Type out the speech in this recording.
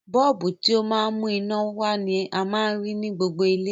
Bọ́ọ̀bù, ti o ma n mú iná wa ni a ma n rí ni gbogbo ilé